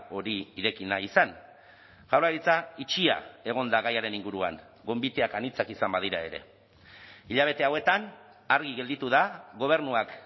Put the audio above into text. hori ireki nahi izan jaurlaritza itxia egon da gaiaren inguruan gonbiteak anitzak izan badira ere hilabete hauetan argi gelditu da gobernuak